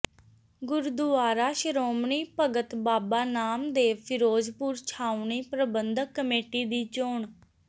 ਗੁਰਦੁਆਰਾ ਸ਼ੋ੍ਰਮਣੀ ਭਗਤ ਬਾਬਾ ਨਾਮਦੇਵ ਫ਼ਿਰੋਜ਼ਪੁਰ ਛਾਉਣੀ ਪ੍ਰਬੰਧਕ ਕਮੇਟੀ ਦੀ ਚੋਣ